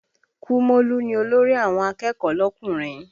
Kúmólú ni olórí àwọn akẹ́kọ̀ọ́ lọkùnrin